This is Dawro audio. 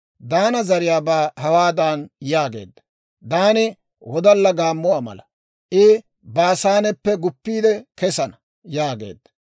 Daane zariyaabaa hawaadan yaageedda; «Daani wodalla gaammuwaa mala; I Baasaaneppe guppiide kesana» yaageedda.